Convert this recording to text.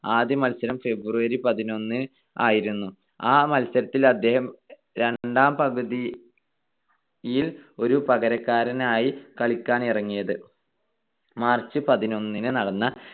ആദ്യ മത്സരം February പതിനൊന്നായിരുന്നു. ആ മത്സരത്തിൽ അദ്ദേഹം രണ്ടാം പകുതിയിൽ ഒരു പകരക്കാരനായാണ് കളിക്കാനിറങ്ങിയത്. March പതിനൊന്നിന് നടന്ന